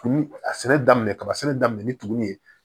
A sɛnɛ daminɛ kaba sɛnɛ daminɛ ni tugunin ye